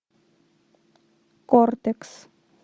кортекс